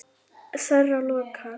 Þeirra lokað.